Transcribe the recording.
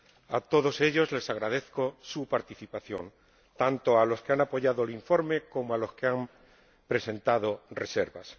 A todos ellos les agradezco su participación, tanto a los que han apoyado el informe como a los que han presentado reservas.